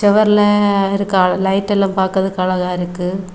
சுவரல இருக்க அழ லைட் எல்லா பாக்கறதுக்கு அழகா இருக்கு.